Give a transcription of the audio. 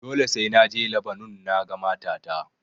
Dole sai na je Labanon naga matata.